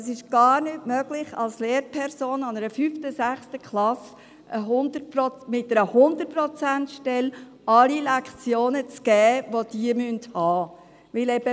Es ist gar nicht möglich, als Lehrperson mit einer 100-Prozent-Stelle an einer 5./6. Klasse alle Lektionen zu geben, die sie haben müssen.